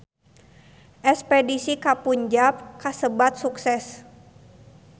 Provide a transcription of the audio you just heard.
Espedisi ka Punjab kasebat sukses